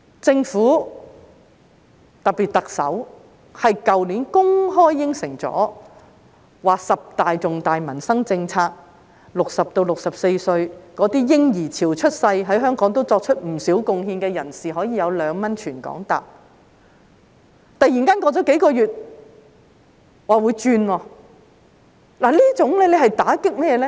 政府在去年公開答應了十大重大民生政策，讓60歲至64歲那些在嬰兒潮出生、在香港作出不少貢獻的人士，可以用2元在全港乘坐公共交通工具，突然間過了數月說會轉變，此舉措打擊誰呢？